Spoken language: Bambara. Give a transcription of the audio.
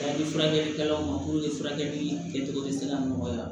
Ni furakɛlikɛlaw ma furakɛli kɛcogo bɛ se ka nɔgɔya